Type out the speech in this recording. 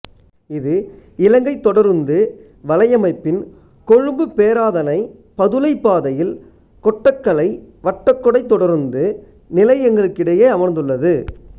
இது இலங்கை தொடருந்து வலையமைப்பின் கொழும்புபேராதனைபதுளை பாதையில் கொட்டகலை வட்டகொடை தொடருந்து நிலையங்களுக்கிடையே அமைந்துள்ளது